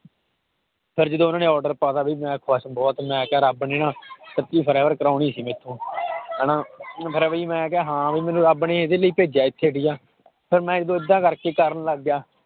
ਫਿਰ ਜਦੋਂ ਉਹਨਾਂ ਨੇ order ਪਾ ਦਿੱਤਾ ਵੀ ਮੈਂ ਬਸ ਬਹੁਤ ਮੈਂ ਕਿਹਾ ਰੱਬ ਨੇ ਨਾ ਸੱਚੀ ਕਰਾਉਣੀ ਸੀ ਮੈਥੋਂ ਹਨਾ ਫਿਰ ਵੀ ਮੈਂ ਕਿਹਾ ਹਾਂ ਵੀ ਮੈਨੂੰ ਰੱਬ ਨੇ ਇਸੇ ਲਈ ਭੇਜਿਆ ਇੱਥੇ ਠੀਕ ਹੈ ਫਿਰ ਮੈਂ ਏਦਾਂ ਕਰਕੇ ਕਰਨ ਲੱਗ ਗਿਆ